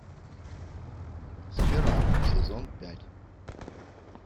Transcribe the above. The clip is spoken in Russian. спираль сезон пять